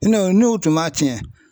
N'o n'u tun m'a tiɲɛ